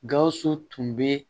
Gawusu tun bɛ